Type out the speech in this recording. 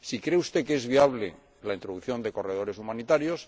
si cree usted que es viable la introducción de corredores humanitarios